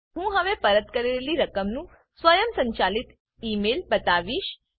હું હવે પરત કરેલી રકમનું સ્વયંસંચાલિત ઈ મેઈલ બતાવીશ